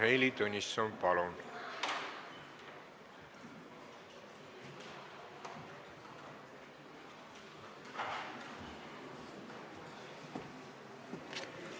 Heili Tõnisson, palun!